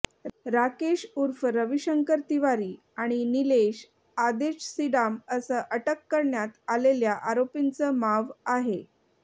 राकेश उर्फ रविशंकर तिवारी आणि निलेश आदेश सीडाम असं अटक करण्यात आलेल्या आरोपीचं माव आहे